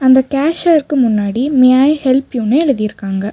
இந்த கேசியருக்கு முன்னாடி மே ஐ ஹெல்ப் யூன்னு எழுதிருக்காங்க.